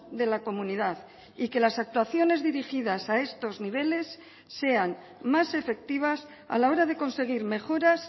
de la comunidad y que las actuaciones dirigidas a estos niveles sean más efectivas a la hora de conseguir mejoras